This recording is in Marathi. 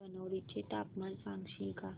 धनोडी चे तापमान सांगशील का